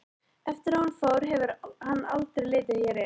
Eftir að hún fór hefur hann aldrei litið hér inn.